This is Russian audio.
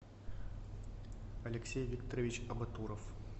алексей викторович абатуров